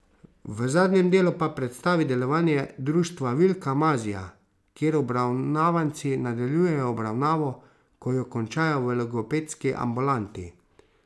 V zadnjem delu pa predstavi delovanje Društva Vilka Mazija, kjer obravnavanci nadaljujejo obravnavo, ko jo končajo v logopedski ambulanti.